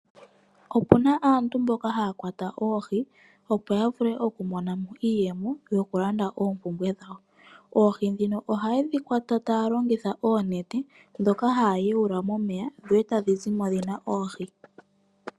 Opu na aantu mboka haya kwata oohi, opo ya vule okumona mo iiyemo yokulanda oompumbwe dhawo. Oohi ndhino ohaye dhi kwata taya longitha oonete ndhoka haya yuula momeya dho etadhi zi mo dhi na oohi.